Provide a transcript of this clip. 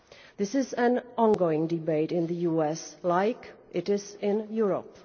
This is an ongoing debate in the US, as it is in Europe.